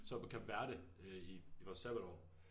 Så på Cape Verde øh i i vores sabbatår